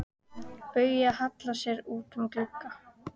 Bauja hallar sér út um opinn glugga.